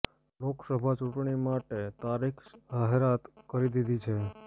લોકસભા ચૂંટણી માટે તારીખ જાહેરાત કરી દીધી છે